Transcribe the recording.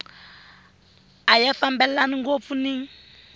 a ya fambelani ngopfu ni